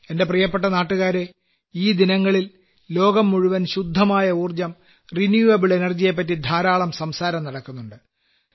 എന്റെ പ്രിയപ്പെട്ട നാട്ടുകാരേ ഈ ദിനങ്ങളിൽ ലോകം മുഴുവൻ ശുദ്ധമായ ഊർജ്ജം പുനരുപയോഗ ഊർജ്ജത്തെ കുറിച്ച് ധാരാളം സംസാരം നടക്കുന്നുണ്ട്